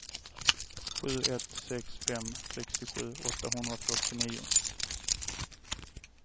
sju ett sex fem sextiosju åttahundrafyrtionio